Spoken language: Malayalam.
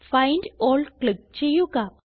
ഫൈൻഡ് ആൽ ക്ലിക്ക് ചെയ്യുക